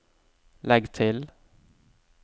legg til